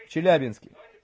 в челябинске